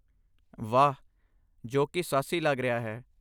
ਵਾਹ! ਜੋ ਕਿ ਸਾਹਸੀ ਲੱਗ ਰਿਹਾ ਹੈ।